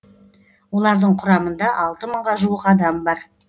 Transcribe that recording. олардың құрамында алты мыңға жуық адам бар